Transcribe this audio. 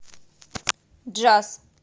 джаз